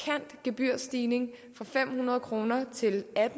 gebyrstigning fra fem hundrede kroner til